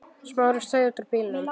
Smári steig út úr bílnum.